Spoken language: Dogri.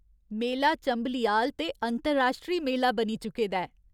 मेला चंबलियाल ते अंतरराश्ट्री मेला बनी चुके दा ऐ।